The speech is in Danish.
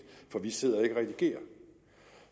for vi sidder ikke og redigerer